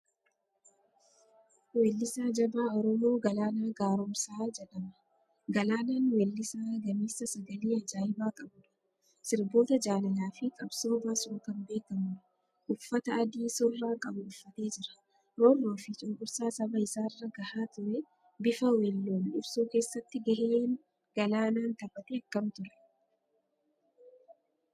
Weellisaa jabaa Oromoo Galaanaa Gaaromsaa jedhama. Galaanaan weellisaa gameessa sagalee ajaa'ibaa qabudha. Sirboota jaalalaa fi qabsoo baasuun kan beekamudha. Uffata adii surraa qabu uffatee jira. Roorroo fi cunqursaa saba isaarra gahaa ture bifa weelluun ibsuu keessatti gaheen Galaanaan taphate akkam ture?